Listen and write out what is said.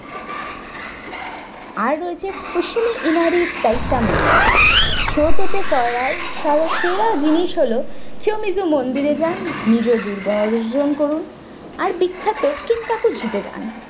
আর রয়েছে fusimi inari taisa mungir মন্দির ছোটতে করার সেরা জিনিস হলো senoji মন্দিরে যান নিজে দুর্গ অর্জন করুন আর বিখ্যাত kinkaku জিতে যান।